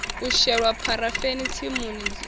wo shelwa pharafeni tsimu dzoṱhe